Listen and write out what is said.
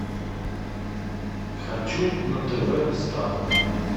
хочу на тв старт